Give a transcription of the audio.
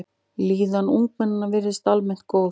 Líðan ungmenna virðist almennt góð.